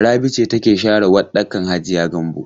Rabi ce take share waɗɗakan hajiya Gambo?